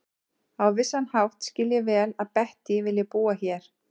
Á vissan hátt skil ég vel að Bettý vilji búa hér.